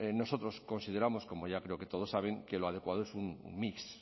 nosotros consideramos como ya creo que todos saben que lo adecuado es un mix